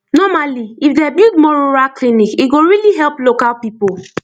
normally if dem build more rural clinic e go really help local people